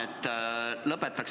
Tänan!